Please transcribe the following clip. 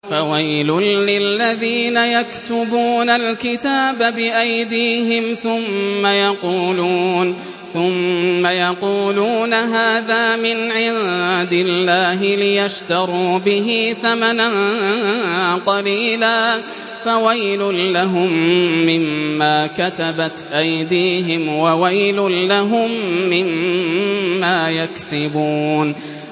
فَوَيْلٌ لِّلَّذِينَ يَكْتُبُونَ الْكِتَابَ بِأَيْدِيهِمْ ثُمَّ يَقُولُونَ هَٰذَا مِنْ عِندِ اللَّهِ لِيَشْتَرُوا بِهِ ثَمَنًا قَلِيلًا ۖ فَوَيْلٌ لَّهُم مِّمَّا كَتَبَتْ أَيْدِيهِمْ وَوَيْلٌ لَّهُم مِّمَّا يَكْسِبُونَ